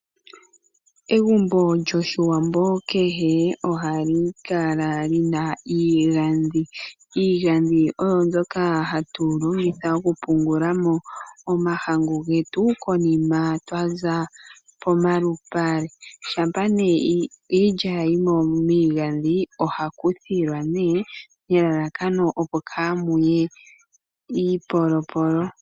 Egumbo lyOshiwambo kehe ohali kala li na iigandhi. Iigandhi oyo mbyoka hatu longitha okupungula mo omahangu getu konima twa za pomalupale. Shampa iilya ya yi mo miigandhi ogaku thilwa nelalakano kaamu ye iipolopolo.